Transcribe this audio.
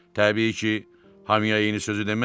Təbii ki, hamıya eyni sözü deməzdi.